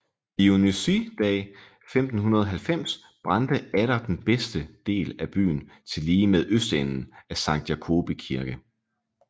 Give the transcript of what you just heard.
Dionysii Dag 1590 brændte atter den bedste del af byen tillige med østenden af Sankt Jacobi Kirke